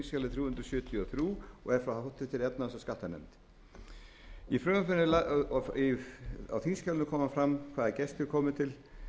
hundruð sjötíu og þrjú og er frá háttvirtri efnahags og skattanefnd á þingskjalinu kemur fram hvaða gestir komu til